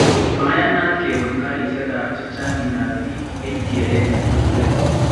Mayanaat kebuun karisiekaab chaang�intaab biik en kereet netuugulet